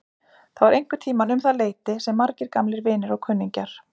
Það var einhverntíma um það leyti sem margir gamlir vinir og kunningjar